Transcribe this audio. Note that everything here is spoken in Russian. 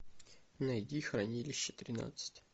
найди хранилище тринадцать